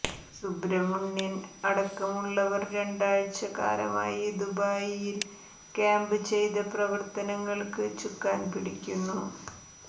സുബ്രമണ്യൻ അടക്കമുള്ള വർ രണ്ടാഴച കാലമായി ദുബായിൽ ക്യാമ്പ് ചെയ്ത പ്രവർത്തനങ്ങൾക്ക് ചുക്കാന് പിടിക്കുന്നു